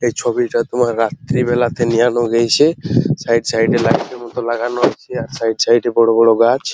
এই ছবিটা তোমার রাত্রি বেলাতে নেওয়ানো হয়েছে ।সাইড - এ সাইড - এ লাইট - এর মতো লাগানো আছে । আর সাইড - এ সাইড - এ বড় বড় গাছ ।